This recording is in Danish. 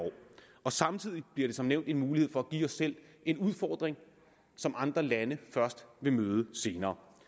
og samtidig bliver det som nævnt en mulighed for at give os selv en udfordring som andre lande først vil møde senere